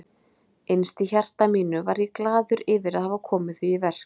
Innst í hjarta mínu var ég glaður yfir að hafa komið því í verk.